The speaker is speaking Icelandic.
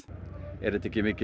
er þetta ekki mikil